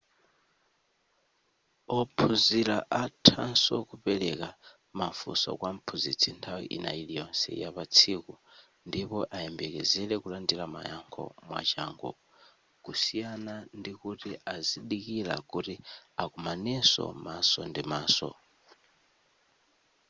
ophunzira athanso kupereka mafunso kwa mphunzitsi nthawi ina iliyonse ya patsiku ndipo ayembekezere kulandira mayankho mwachangu kusiyana ndikuti azidikira kuti akomaneso maso ndi maso